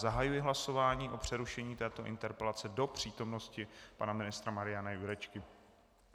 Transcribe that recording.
Zahajuji hlasování o přerušení této interpelace do přítomnosti pana ministra Mariana Jurečky.